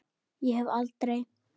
Ég hef aldrei.